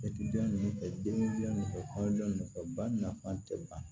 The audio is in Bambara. ninnu fɛ den fɛ kɔɲɔkɛ ba nafa tɛ ban